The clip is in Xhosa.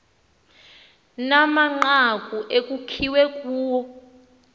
namanqaku ekukbiwe kuwo